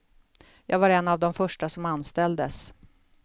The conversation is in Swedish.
Jag var en av de första som anställdes.